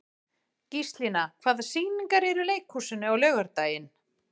Gíslína, hvaða sýningar eru í leikhúsinu á laugardaginn?